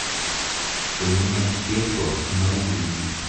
поменять песо на рубли